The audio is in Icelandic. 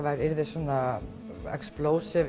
yrði